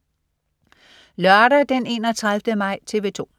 Lørdag den 31. maj - TV 2: